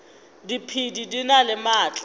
diphedi di na le maatla